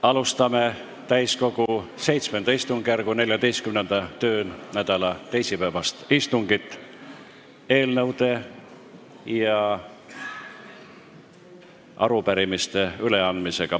Alustame täiskogu VII istungjärgu 14. töönädala teisipäevast istungit eelnõude ja arupärimiste üleandmisega.